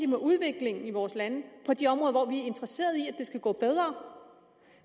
med udviklingen i vores lande på de områder hvor vi er interesseret i at det skal gå bedre